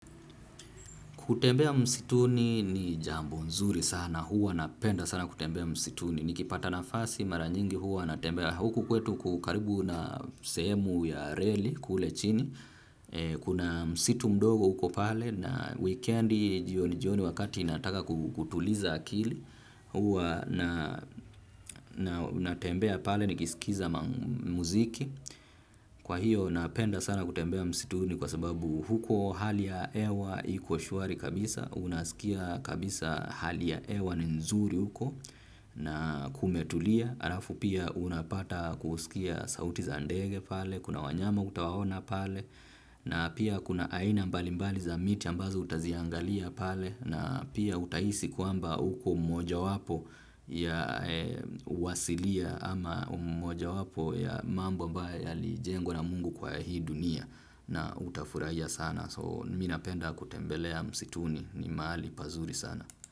Kutembea msituni ni jambo nzuri sana, huwa napenda sana kutembea msituni, nikipata nafasi mara nyingi huwa natembea huku kwetu ku karibu na sehemu ya reli kule chini, kuna msitu mdogo uko pale na wikendi jioni jioni wakati nataka kutuliza akili, huwa na natembea pale nikisikiza muziki. Kwa hiyo napenda sana kutembea msituni kwa sababu huko hali ya ewa iko shwari kabisa, unaskia kabisa hali ya ewa ni nzuri huko na kumetulia, arafu pia unapata kusikia sauti za ndege pale, kuna wanyama utawaona pale, na pia kuna aina mbalimbali za miti ambazo utaziangalia pale, na pia utahisi kwamba uko mmoja wapo ya wasilia ama mmoja wapo ya mambo abae yalijengwa na mungu kwa hii dunia na utafurahia sana so mi napenda kutembelea msituni ni maali pazuri sana.